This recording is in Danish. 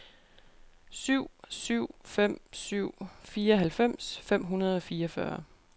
syv syv fem syv fireoghalvfems fem hundrede og fireogfyrre